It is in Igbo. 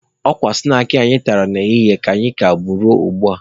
Ọ kwa snaakị anyị tara n'ehihie ka anyị ka bu ruo ugbua.